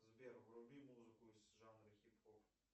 сбер вруби музыку из жанра хип хоп